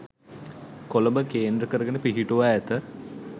කොළඹ කෙන්ද්‍රකරගෙන පිහිටුවා ඇත